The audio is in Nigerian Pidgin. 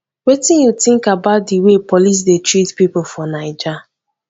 wetin you think about di way police dey treat people for naija